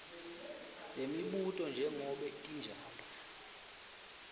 lemibuto njengobe tinjalo